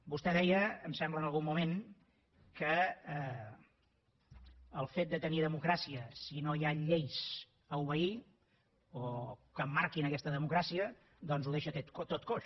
vostè deia em sembla en algun moment que el fet de tenir democràcia si no hi han lleis a obeir o que marquin aquesta democràcia doncs ho deixa tot coix